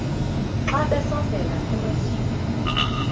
xa besondela emasuie